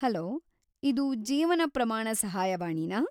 Hello, ಇದು ಜೀವನ ಪ್ರಮಾಣ ಸಹಾಯವಾಣಿನಾ?